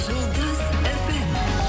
жұлдыз фм